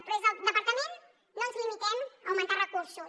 però des del departament no ens limitem a augmentar recursos